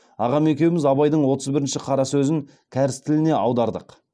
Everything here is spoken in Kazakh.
ағам екеуміз абайдың отыз бірінші қара сөзін кәріс тіліне аудардық